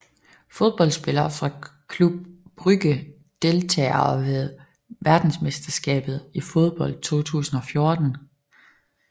Fodboldspillere fra Club Brugge Deltagere ved verdensmesterskabet i fodbold 2014